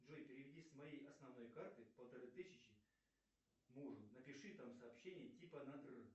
джой переведи с моей основной карты полторы тысячи мужу напиши там сообщение типа на др